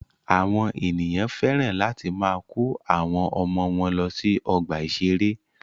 Àwọn ènìyàn féràn láti máa kọ́ àwọn ọmọ wọ́n lọ sí ọgbà ìṣẹ̀rẹ́.